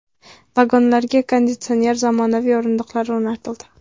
Vagonlarga konditsioner, zamonaviy o‘rindiqlar o‘rnatildi.